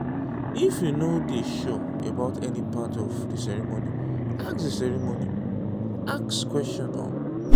if you no dey sure about any part of di ceremony ask di ceremony ask questions um